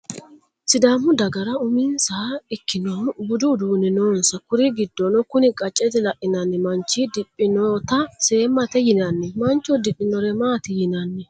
Sidamu dagara uminsaha ikkinnohu budu udunni noonsa. kur giddono kun qaccete lainnanni maanchi diphinnota seemmate yinaani. Mancho udidhinore maati yinanni?